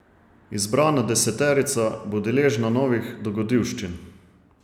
Izbrana deseterica bo deležna novih dogodivščin.